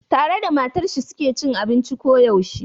Tare da matar shi su ke cin abinci ko da yaushe.